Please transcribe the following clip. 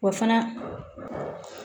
Wa fana